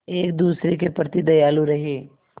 एक दूसरे के प्रति दयालु रहें